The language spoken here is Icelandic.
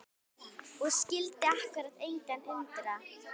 Og skyldi akkúrat engan undra!